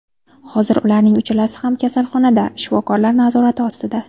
Hozir ularning uchalasi ham kasalxonada, shifokorlar nazorati ostida.